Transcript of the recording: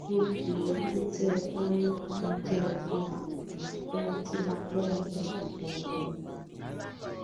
gbogbo èébú tẹ ẹ bá rí ni kí ẹ bù mí ohun tí mo fẹ ni mo sọ yẹn